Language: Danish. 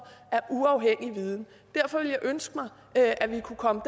af uafhængig viden derfor ville jeg ønske at at vi kunne komme